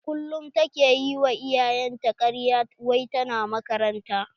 A kullum ta ke yi wa iyayen ta karya wai ta na makaranta.